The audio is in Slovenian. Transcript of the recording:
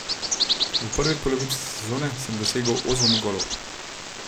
V prvi polovici sezone sem dosegel osem golov.